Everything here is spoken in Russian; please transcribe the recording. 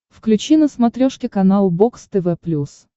включи на смотрешке канал бокс тв плюс